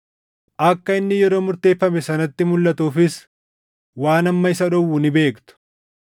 Akka inni yeroo murteeffame sanatti mulʼatuufis waan amma isa dhowwu ni beektu.